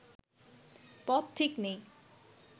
পথ ঠিক নেই